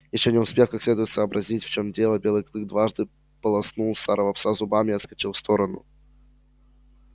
ещё не успев как следует сообразить в чем дело белый клык дважды полоснул старого пса зубами и отскочил в сторону